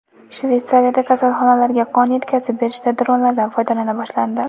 Shveysariyada kasalxonalarga qon yetkazib berishda dronlardan foydalana boshlandi.